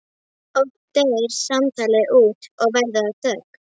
Oft deyr samtalið út og verður að þögn.